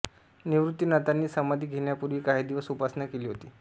निवृत्तिनाथांनी समाधी घेण्यापूर्वी काही दिवस उपासना केली होती